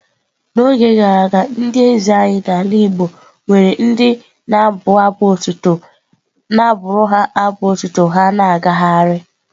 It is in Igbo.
N'oge gara aga ndị eze anyị n'ala igbo nwere ndị na-abụ abụ otuto na-abụ abụ otuto ha na-agagharị.